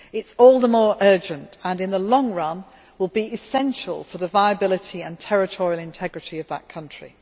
It is all the more urgent and, in the long run, will be essential for the viability and territorial integrity of that country.